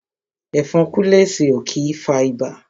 Ẹ̀fọn kúlẹ̀sì ó kí ń fa ibà